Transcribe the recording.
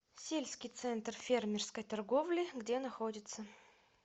сельский центр фермерской торговли где находится